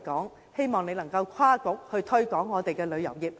我希望局長考慮跨局推廣旅遊業。